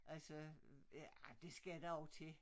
Altså ja det skal der jo til